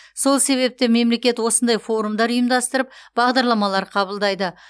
сол себепті мемлекет осындай форумдар ұйымдастырып бағдарламалар қабылдайды